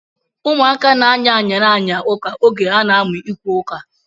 Ụmụaka na-aya ayara aya ụka oge ha na-amụ ikwu ụka